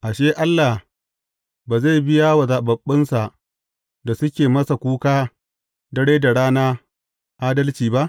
Ashe, Allah ba zai biya wa zaɓaɓɓunsa da suke masa kuka, dare da rana adalci ba?